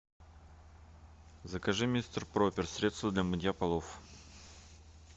закажи мистер пропер средство для мытья полов